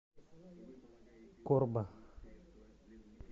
корба